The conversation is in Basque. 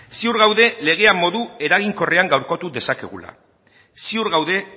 ziur gaude legea modu eraginkorrean gaurkotu dezakegula ziur gaude